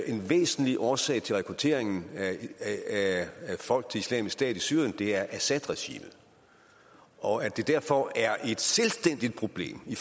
en væsentlig årsag til rekrutteringen af folk til islamisk stat i syrien er assadregimet og at det derfor er et selvstændigt problem i